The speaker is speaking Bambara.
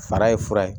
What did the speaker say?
Fara ye fura ye